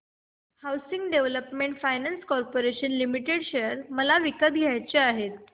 housing Development Finance Corporation Limited share मला विकत घ्यायचे आहेत